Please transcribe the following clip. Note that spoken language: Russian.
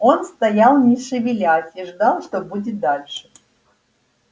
он стоял не шевелясь и ждал что будет дальше